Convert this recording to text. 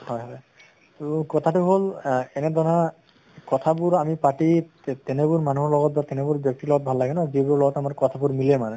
হয় হয়, তʼ কথাটো হʼল আহ এনে ধৰণৰ কথাবোৰ আমি পাতি তে তেনেবোৰ মানুহৰ লগত তেনেবোৰ ব্য়ক্তিৰ লগত ভাল লাগে ন যিবোৰ লগত আমাৰ কথাবোৰ মিলে মানে